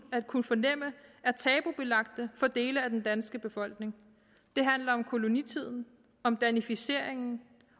at kunne fornemme er tabubelagte for dele af den danske befolkning det handler om kolonitiden om danificeringen